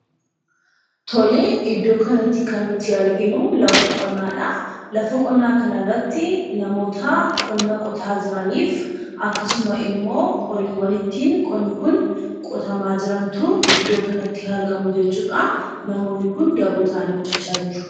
Tolee, iddoo kanatti kan nuti arginuu lafa qonnaadha. Lafa qonnaa kana irratti namoota qonna qotaa jiraniif akka akkasuma immoo horiiwwan ittiin qonni Kun ittiin qotamaa jirantu iddoo kanatti argamu jechuudha . Namoonni Kun daboo ta'anii hojjechaa jiru